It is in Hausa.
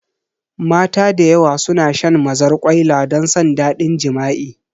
Mata da yawa suna shan mazarƙwaila don san ɗadin jima'i